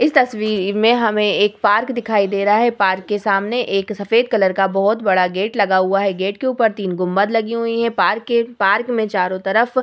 इस तस्वीर में हमे एक पार्क दिखाई दे रहा है पार्क के सामने एक सफ़ेद कलर का बहुत बड़ा गेट लगा हुआ है गेट के ऊपर तीनगो लगी हुई है पार्क के पार्क में चारो तरफ --